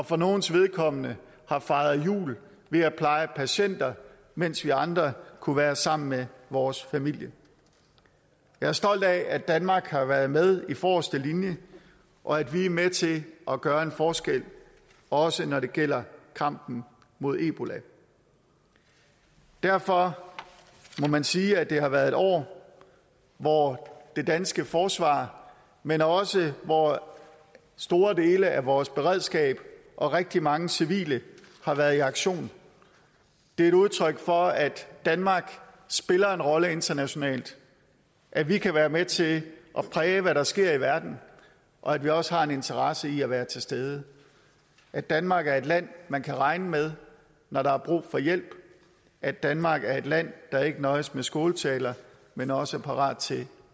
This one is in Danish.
for nogles vedkommende har fejret jul ved at pleje patienter mens vi andre kunne være sammen med vores familie jeg er stolt af at danmark har været med i forreste linje og at vi er med til at gøre en forskel også når det gælder kampen mod ebola derfor må man sige at det har været et år hvor det danske forsvar men også store dele af vores beredskab og rigtig mange civile har været i aktion det er et udtryk for at danmark spiller en rolle internationalt at vi kan være med til at præge hvad der sker i verden og at vi også har en interesse i at være til stede at danmark er et land man kan regne med når der er brug for hjælp at danmark er et land der ikke nøjes med skåltaler men også er parat til